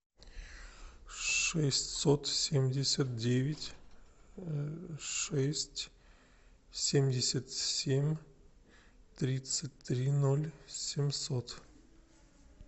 шестьсот семьдесят девять шесть семьдесят семь тридцать три ноль семьсот